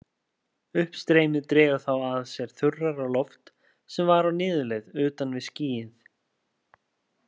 Uppstreymið dregur þá að sér þurrara loft sem var á niðurleið utan við skýið.